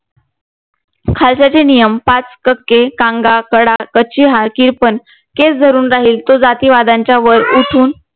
खालसाचे नियम पाच कके कांगा कडा किर्पाण केस धरून राहिल तो जातिवादांच्या वर उठून